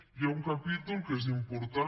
hi ha un capítol que és important